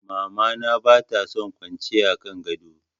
Mama na bata son kwanciya a kan gado.